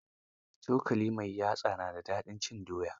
Cokali mai yatsa na da dadin cin doya.